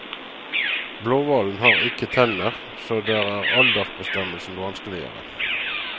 Blåhvalen har ikke tenner, så der er aldersbestemmelsen vanskeligere.